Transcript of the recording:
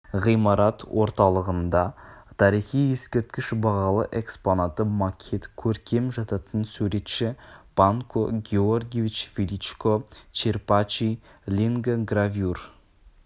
ғимарат орталығында тарихи ескерткіш бағалы экспонаты макет көркем жататын суретші панко георгиевич величко черпачи лингогравюр